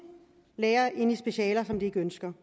læger ind i specialer som de ikke ønsker